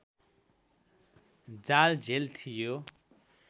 जालझेल थियो